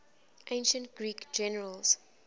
ancient greek generals